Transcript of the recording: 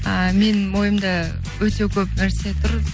а менің мойнымда өте көп нәрсе тұр